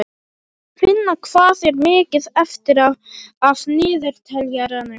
Finna, hvað er mikið eftir af niðurteljaranum?